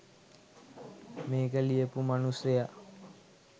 මේක ලියපු මනුස්සයා